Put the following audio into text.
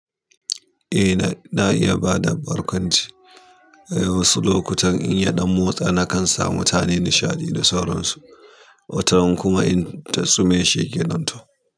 Eh na, na iya ba da barkwanci. Wasu lokuta in ya ɗan motsa nakan san mutanen nishaɗi da sauran su, wataran kuma in ta sume shikenan ko.